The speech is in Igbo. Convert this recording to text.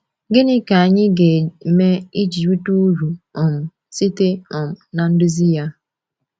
Gịnị ka anyị ga-eme iji rite uru um site um na nduzi ya?